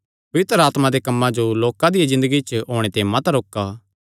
पवित्र आत्मा दे कम्मां जो लोकां दिया ज़िन्दगिया च होणे ते मत रोका